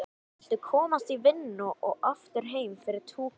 Viltu komast í vinnuna og aftur heim fyrir túkall?